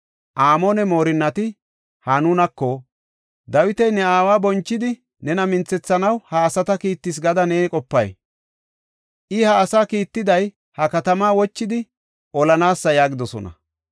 Amoone moorinnati Hanunako, “Dawiti ne aawa bonchidi nena minthethanaw ha asata kiittis gada na qopay? I ha asaa kiittiday ha katamaa wochidi, olanaasa” yaagidosona.